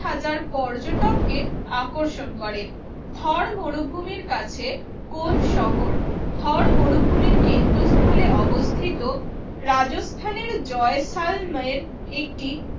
হাজার পর্যটককে আকর্ষণ করে থর মরুভূমির কাছে কোন শহর? থর মরুভূমির কেন্দ্রস্থলে অবস্থিত রাজস্থানের জয়সালমীরএকটি